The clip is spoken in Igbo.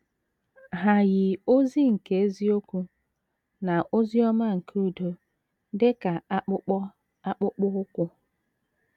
Hà yi ozi nke eziokwu na ozi ọma nke udo dị ka akpụkpọ akpụkpọ ụkwụ?